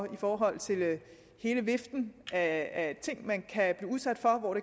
i forhold til hele viften af af ting man kan blive udsat for og